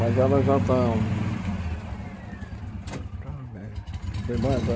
Mas ela já estava... Foi mais a...